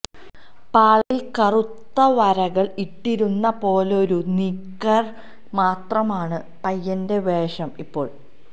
പാളയില് കറുത്ത വരകള് ഇട്ടിരുന്ന പോലൊരു നിക്കര് മാത്രമാണ് പയ്യന്റെ വേഷം ഇപ്പോള്